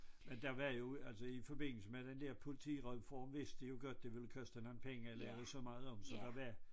Men der var jo altså i forbindelse med den der politireform vidste jeg jo godt det ville koste nogle penge at lave så meget om så der var